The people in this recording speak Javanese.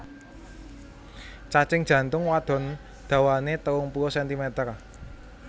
Cacing jantung wadon dawané telung puluh sentimeter